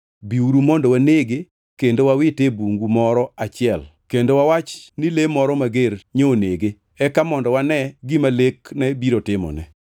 Biuru mondo wanege kendo wawite e bungu moro achiel kendo wawach ni le moro mager nyonege. Eka mondo wane gima lekne biro timone.”